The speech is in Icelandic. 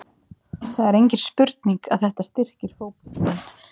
Það er engin spurning að þetta styrkir fótboltamenn.